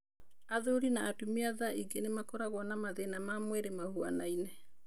Athuri na atumia thaingĩ nĩ makoragwo na mathĩna ma mwĩrĩ mahuanaine.